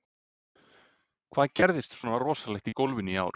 Hvað gerðist svona rosalegt í golfinu í ár?